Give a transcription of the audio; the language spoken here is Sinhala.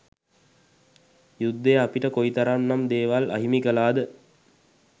යුද්ධය අපිට කොයි තරම් නම් දේවල් අහිමි කලාද.